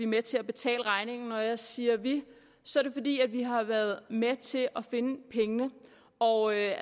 med til at betale regningen når jeg siger vi så er det fordi vi har været med til at finde pengene og jeg